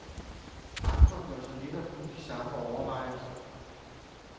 Andre gør sig netop nu de samme overvejelser.